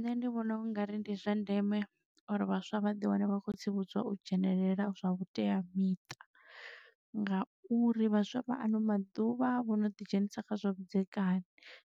Nṋe ndi vhona ungari ndi zwa ndeme uri vhaswa vha ḓi wane vha kho tsivhudzwa u dzhenelela zwa vhuteamiṱa ngauri vhaswa vha ano maḓuvha vhono ḓi dzhenisa kha zwa vhudzekani.